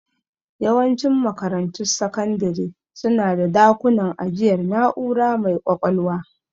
Yawancin makarantun sakandire su na da dakunan ajiyar na'ura mai ƙwaƙwalwa.